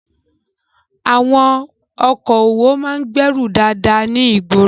Àwọn okòwò máa ń gbèèrú dáadáa ní ìgboro.